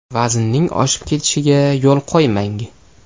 Vaznning oshib ketishiga yo‘l qo‘ymang.